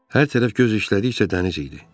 Hər tərəf göz işlədikcə dəniz idi.